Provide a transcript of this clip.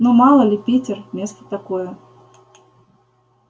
ну мало ли питер место такое